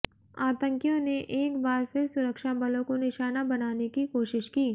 आतंकियों ने एक बार फिर सुरक्षाबलों को निशाना बनाने की कोशिश की